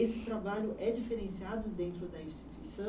Esse trabalho é diferenciado dentro da instituição,